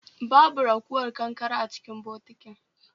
Babu ragowar kankare a cikin bokitin